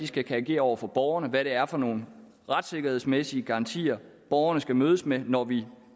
skal kunne agere over for borgerne og hvad det er for nogle retssikkerhedsmæssige garantier borgerne skal mødes med når vi